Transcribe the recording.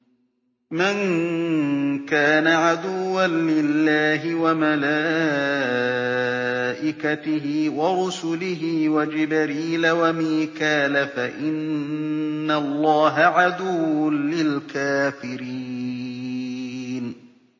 مَن كَانَ عَدُوًّا لِّلَّهِ وَمَلَائِكَتِهِ وَرُسُلِهِ وَجِبْرِيلَ وَمِيكَالَ فَإِنَّ اللَّهَ عَدُوٌّ لِّلْكَافِرِينَ